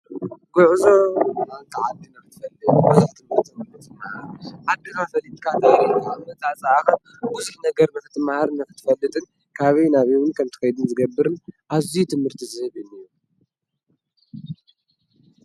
ጐዕዞተዓሊ ናርትፈል ብዙኅ ትምርትምርርት ዓድራ ፈሊትካ ተይሪ ነታ ፃኣኸን ዉዙኅ ነገር ምኽቲ መሃር ነፍትፈልጥን ካበይ ናቢውን ከምቲ ኸይዱኒ ዘገብርን ኣዙይ ትምህርቲ ዝህብኒ እዮ።